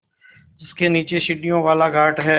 जिसके नीचे सीढ़ियों वाला घाट है